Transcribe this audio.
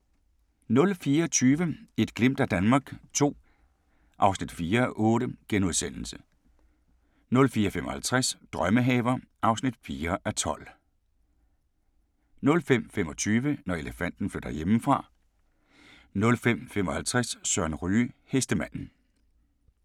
04:20: Et glimt af Danmark II (4:8)* 04:55: Drømmehaver (4:12) 05:25: Når elefanten flytter hjemmefra 05:55: Søren Ryge: Hestemanden